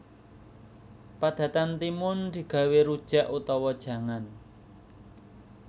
Padatan timun digawé rujak utawa jangan